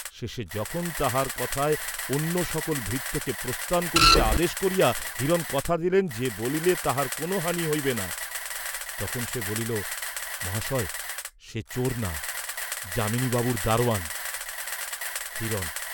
শেষে যখন তাহার কথায় অন্য সকল ভৃত্যকে প্রস্থান করিতে আদেশ করিয়া হিরণ কথা দিলেন, যে বলিলে তাহার কোন হানি হইবে না, তখন সে বলিল, "মহাশয়, সে চোর না, যামিনীবাবুর দারোয়ান।" হিরণ